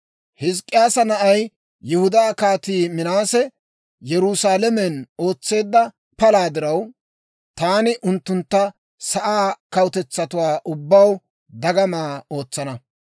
Hizk'k'iyaasa na'ay, Yihudaa Kaatii Minaase Yerusaalamen ootseedda palaa diraw, taani unttuntta sa'aa kawutetsaa ubbaw dagama ootsana.